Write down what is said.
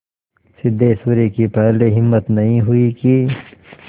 सिद्धेश्वरी की पहले हिम्मत नहीं हुई कि